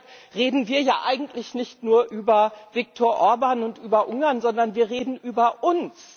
Deshalb reden wir ja eigentlich nicht nur über Viktor Orbán und über Ungarn, sondern wir reden über uns.